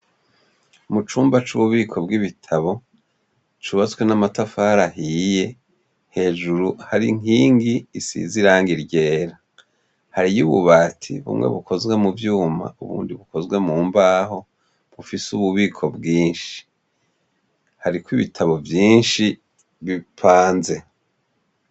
Mucumba cububiko bwibitabo cubatswe namatafari ahiye hejuru harinkingi isize irangi ryera hariyo ububati bumwe bukoze muvyuma ubundi bukoze mumbaho bufise ububiko bwinshi hariko ibitabo vyinshi bipanze